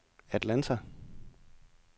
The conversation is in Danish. Atlanta